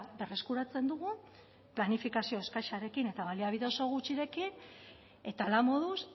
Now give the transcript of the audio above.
berreskuratzen dugu planifikazio eskasarekin eta baliabide oso gutxirekin eta halamoduz